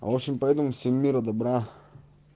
очень пойду на все мира добра